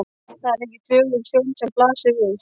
Það er ekki fögur sjón sem blasir við.